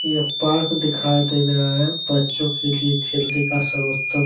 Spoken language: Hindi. एक पार्क दिखाई दे रहा है। बच्चों के लिए खेलने का सर्वोतम --